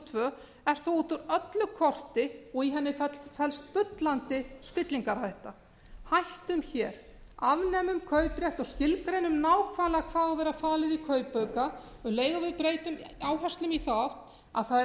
tvö er því út úr öllu korti og í henni felst bullandi spillingarhætta hættum hér afnemum kauprétt og skilgreinum nákvæmlega hvað á að vera falið í kaupauka um leið og við breytum áherslum í þá átt að það er